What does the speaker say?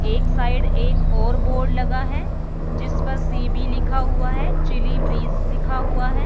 एक साइड एक और बोर्ड लगा है जिसपर सी_बी लिखा हुआ है चिल्ली ब्रिज लिखा हुआ है।